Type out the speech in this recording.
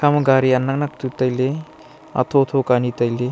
etangma gari anaknak tu tailey athotho ka anyi tailey.